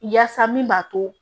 Yaasa min b'a to